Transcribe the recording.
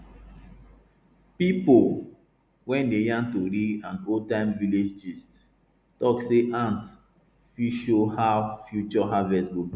pipo wey wey dey yarn tori and oldtime village gist talk say ants fit show how future harvest go be